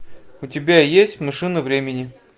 у тебя есть машина времени